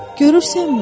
Görürsənmi?